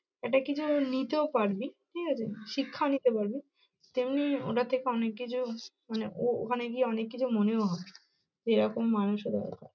একটা কিছু নিতেও পারবি, ঠিক আছে? শিক্ষা নিতে পারবি তেমনি ওটা থেকে অনেককিছু মানে ও ওখানে গিয়ে অনেককিছু মনেও হবে সেরকম মানুষের ব্যাপার।